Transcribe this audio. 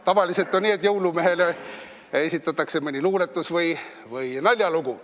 Tavaliselt on nii, et jõulumehele esitatakse mõni luuletus või naljalugu.